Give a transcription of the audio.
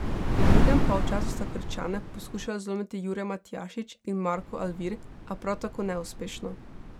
V drugem polčasu sta Krčane poskušala zlomiti Jure Matjašič in Marko Alvir, a prav tako neuspešno.